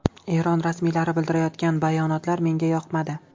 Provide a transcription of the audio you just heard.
Eron rasmiylari bildirayotgan bayonotlar menga yoqmadi.